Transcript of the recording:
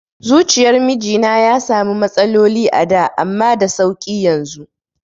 Zuciyar mijina ya sami matsaloli a da amma da sauƙi yanzu